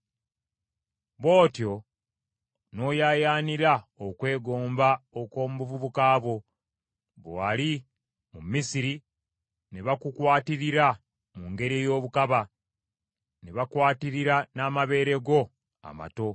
Bw’otyo n’oyaayaanira okwegomba okw’omu buvubuka bwo, bwe wali mu Misiri ne bakukwatirira mu ngeri ey’obukaba, ne bakwatirira n’amabeere go amato.